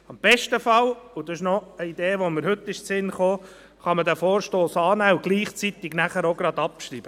Im besten Fall – diese Idee ist mir heute eingefallen – kann man den Vorstoss annehmen und gleichzeitig abschreiben.